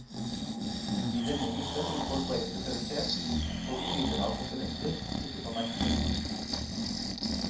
I denne gruppen vil folk være spesialisert på typen av komponenter, ikke på merke.